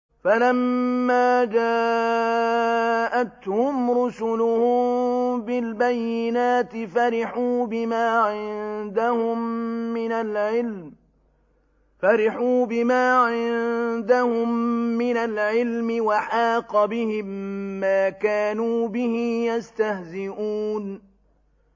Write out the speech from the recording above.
فَلَمَّا جَاءَتْهُمْ رُسُلُهُم بِالْبَيِّنَاتِ فَرِحُوا بِمَا عِندَهُم مِّنَ الْعِلْمِ وَحَاقَ بِهِم مَّا كَانُوا بِهِ يَسْتَهْزِئُونَ